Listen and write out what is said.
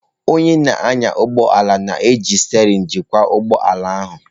Onye na-anya ụgbọ ala na-eji sterein jikwa ụgbọ ala ahụ.